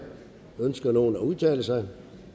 ønsker nogen at udtale sig